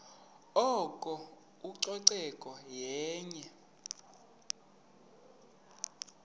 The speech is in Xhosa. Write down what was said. oko ucoceko yenye